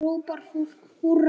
Þá hrópar fólk húrra.